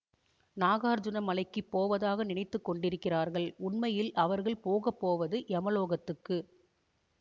நாகார்ஜுன மலைக்குப் போவதாக நினைத்து கொண்டிருக்கிறார்கள் உண்மையில் அவர்கள் போக போவது யமலோகத்துக்கு